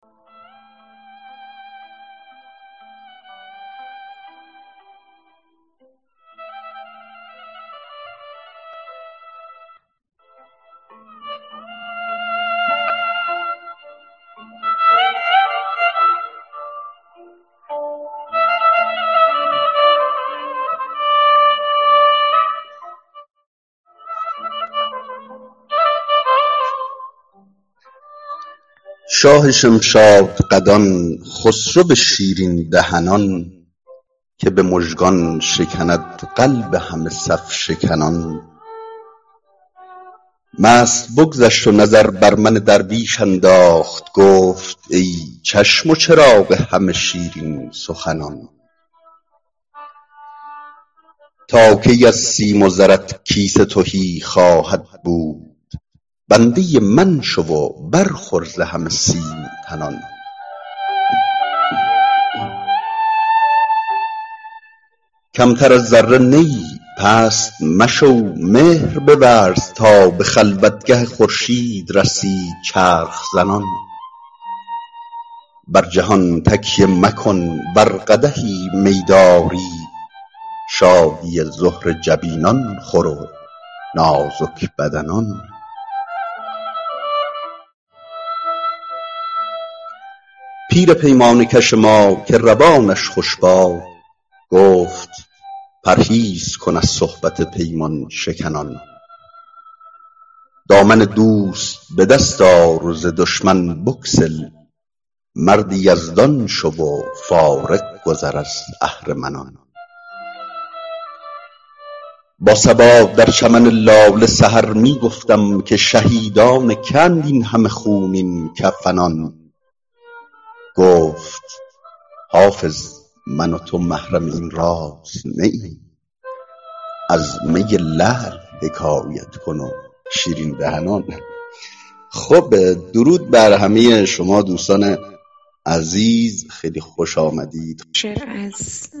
شاه شمشادقدان خسرو شیرین دهنان که به مژگان شکند قلب همه صف شکنان مست بگذشت و نظر بر من درویش انداخت گفت ای چشم و چراغ همه شیرین سخنان تا کی از سیم و زرت کیسه تهی خواهد بود بنده من شو و برخور ز همه سیم تنان کمتر از ذره نه ای پست مشو مهر بورز تا به خلوتگه خورشید رسی چرخ زنان بر جهان تکیه مکن ور قدحی می داری شادی زهره جبینان خور و نازک بدنان پیر پیمانه کش من که روانش خوش باد گفت پرهیز کن از صحبت پیمان شکنان دامن دوست به دست آر و ز دشمن بگسل مرد یزدان شو و فارغ گذر از اهرمنان با صبا در چمن لاله سحر می گفتم که شهیدان که اند این همه خونین کفنان گفت حافظ من و تو محرم این راز نه ایم از می لعل حکایت کن و شیرین دهنان